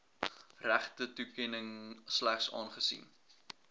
regtetoekenning slegs aangesien